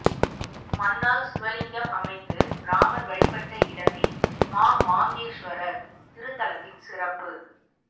மண்ணால் சிவலிங்கம் அமைத்து இராமன் வழிபட்ட இடமே மாமாங்கேஸ்வரர் திருத்தலத்தின் சிறப்பு